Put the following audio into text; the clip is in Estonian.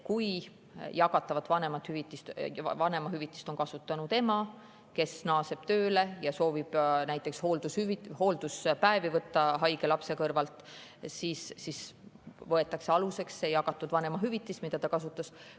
Kui jagatavat vanemahüvitist on kasutanud ema, kes naaseb tööle ja soovib näiteks haige lapse kõrvalt hoolduspäevi võtta, siis võetakse aluseks see jagatud vanemahüvitis, mida ta kasutas.